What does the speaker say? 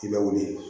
I bɛ wuli